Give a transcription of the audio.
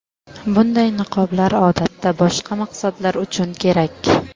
Bunday niqoblar odatda boshqa maqsadlar uchun kerak.